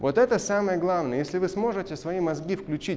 вот это самое главное если вы сможете свои мозги включи